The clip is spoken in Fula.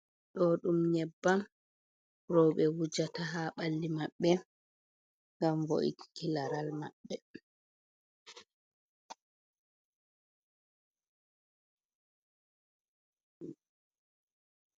Ɗo ɗum nyebbam roowɓe wujata haa ɓalli maɓɓe, ngam vo’inki laral maɓɓe.